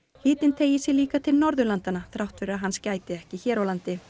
hitinn teygir sig líka til Norðurlandanna þrátt fyrir að hans gæti ekki hér á landi